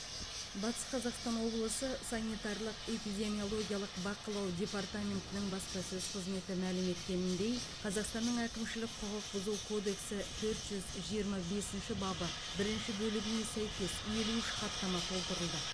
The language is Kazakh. батыс қазақстан облысы санитарлық эпидемиологиялық бақылау департаментінің баспасөз қызметі мәлім еткеніндей қазақстанның әкімшілік құқық бұзу кодексі төрт жүз жиырма бесінші бабы бірінші бөлігіне сәйкес елу үш хаттама толтырылды